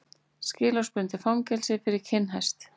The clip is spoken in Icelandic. Skilorðsbundið fangelsi fyrir kinnhest